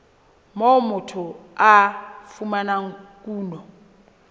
moo motho a fumanang kuno